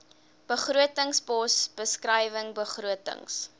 begrotingspos beskrywing begrotings